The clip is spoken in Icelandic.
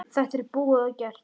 Þetta er búið og gert.